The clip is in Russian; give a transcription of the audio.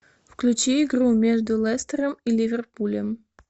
включи игру между лестером и ливерпулем